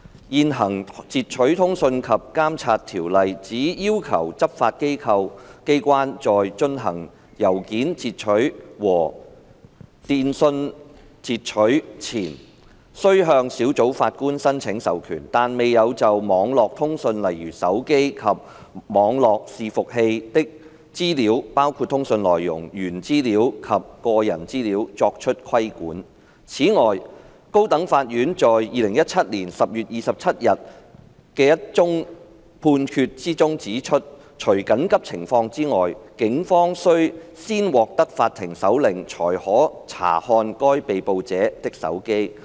現行《截取通訊及監察條例》只要求執法機關在進行郵件截取和電訊截取前須向小組法官申請授權，但未有就網絡通訊的資料作出規管。此外，高等法院在2017年10月27日的一項裁決中指出，除緊急情況外，警方須先獲得法庭搜查令才可查看被捕者的手機。